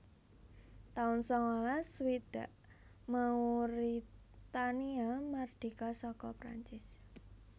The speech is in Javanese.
taun sangalas swidak Mauritania mardika saka Prancis